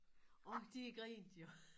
Og de grinte jo